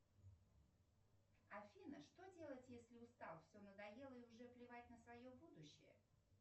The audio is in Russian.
афина что делать если устал все надоело и уже плевать на свое будущее